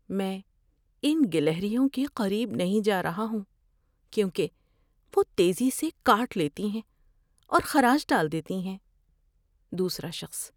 میں ان گلہریوں کے قریب نہیں جا رہا ہوں کیونکہ وہ تیزی سے کاٹ لیتی ہیں اور خراش ڈال دیتی ہیں۔ (دوسرا شخص)